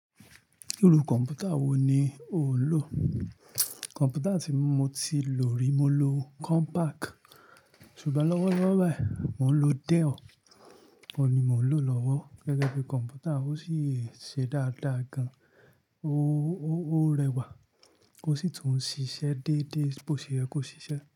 Irú kọ̀m̀pútà wò ní ò ń lò? Kọ̀m̀pútà tí mo ti lò rí, mo lo Compaq ṣùgbọ́n lọ́wọ́lọ́wọ́ báyìí mò ń lo Dell, òun ni mò ń lò lọ́wọ́ gẹ́gẹ́ bí kọ̀m̀pútà, ó sì ṣe dáadáa gan-an. Ó, ó, ó rẹwà, o sì tún ń ṣiṣẹ́ déédéé, bó ti yẹ kó ṣiṣẹ́